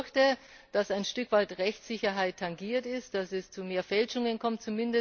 Ich befürchte, dass ein Stück weit Rechtssicherheit tangiert ist, dass es zu mehr Fälschungen kommt.